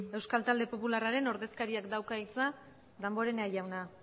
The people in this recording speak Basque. euskal talde popularraren ordezkariak dauka hitza damborenea jauna